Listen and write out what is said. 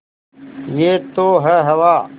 यह तो है हवा